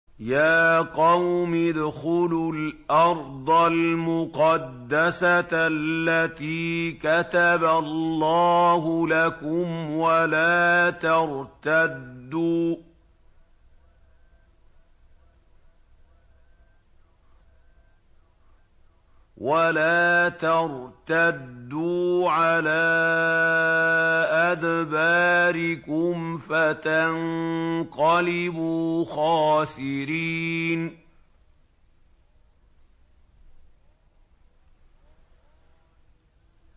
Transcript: يَا قَوْمِ ادْخُلُوا الْأَرْضَ الْمُقَدَّسَةَ الَّتِي كَتَبَ اللَّهُ لَكُمْ وَلَا تَرْتَدُّوا عَلَىٰ أَدْبَارِكُمْ فَتَنقَلِبُوا خَاسِرِينَ